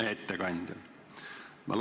Hea ettekandja!